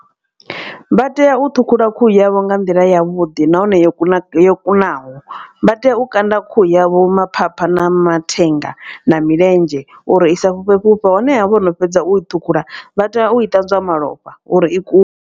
Vha tea u ṱhukhula khuhu yavho nga nḓila yavhuḓi nahone yo kuna yo kunaho. Vha tea u kanda khuhu yavho maphapha na mathenga na milenzhe uri isa fhufhe fhufhe honeha vhono fhedza u thukhula vha tea u ṱanzwa malofha uri i ku.